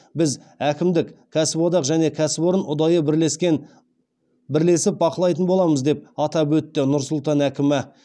біз әкімдік кәсіподақ және кәсіпорын ұдайы бірлесіп бақылайтын боламыз деп атап өтті нұр сұлтан әкімі